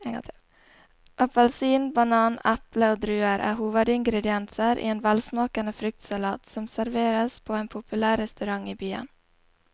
Appelsin, banan, eple og druer er hovedingredienser i en velsmakende fruktsalat som serveres på en populær restaurant i byen.